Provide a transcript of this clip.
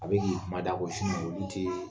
A bɛ k'i kuma da k'o ye olu tɛ